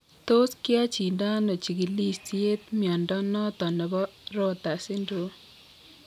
Tos kiyachindo ano chikilisiet mnyondo noton nebo Rotor syndrome ?